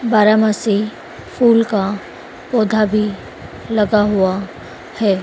बारामासी फूल का पौधा भी लगा हुआ है।